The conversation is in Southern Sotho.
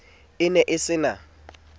o ne o se na